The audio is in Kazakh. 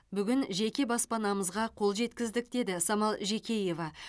бүгін жеке баспанамызға қол жеткіздік деді самал жекеева